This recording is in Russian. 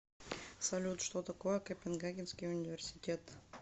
салют что такое копенгагенский университет